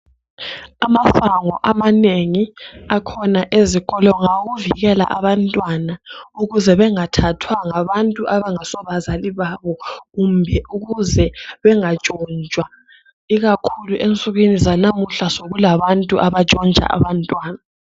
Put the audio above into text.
Amasango amanengi akhona ezikolo ngawokuvikela abantwana ukuze bengathathwa ngabantu abangaso bazali babo, kumbe ukuze bengatshontshwa. Ikakhulu ensukwini zanamuhla sokulabantu abatshontsha abantwana.